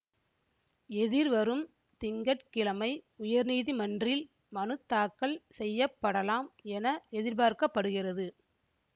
எதிர்வரும் திங்க கிழமை உயர்நீதிமன்றில் மனுத்தாக்கல் செய்ய படலாம் என எதிர்பார்க்க படுகிறது